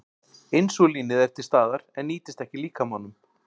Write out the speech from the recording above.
Insúlínið er til staðar en nýtist ekki líkamanum.